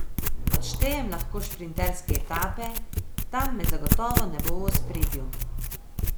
Odštejem lahko šprinterske etape, tam me zagotovo ne bo v ospredju.